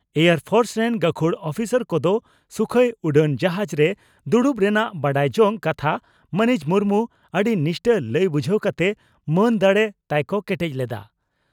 Air force ᱨᱮᱱ ᱜᱟᱹᱠᱷᱩᱲ ᱩᱯᱤᱥᱟᱨ ᱠᱚᱫᱚ ᱥᱩᱠᱷᱚᱭ ᱩᱰᱟᱹᱱ ᱡᱟᱦᱟᱡᱽ ᱨᱮ ᱫᱩᱲᱩᱵ ᱨᱮᱱᱟᱜ ᱵᱟᱰᱟᱭ ᱡᱚᱝ ᱠᱟᱛᱷᱟ ᱢᱟᱹᱱᱤᱡ ᱢᱩᱨᱢᱩ ᱟᱹᱰᱤ ᱱᱤᱥᱴᱟᱹ ᱞᱟᱹᱭ ᱵᱩᱡᱷᱟᱹᱣ ᱠᱟᱛᱮ ᱢᱟᱱ ᱫᱟᱲᱮ ᱛᱟᱭ ᱠᱚ ᱠᱮᱴᱮᱡ ᱞᱮᱫᱼᱟ ᱾